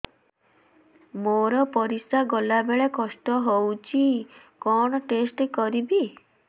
ମୋର ପରିସ୍ରା ଗଲାବେଳେ କଷ୍ଟ ହଉଚି କଣ ଟେଷ୍ଟ କରିବି